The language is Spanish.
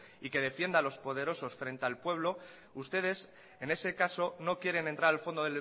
y que defienda a los poderosos frente al pueblo ustedes en ese caso no quieren entrar al fondo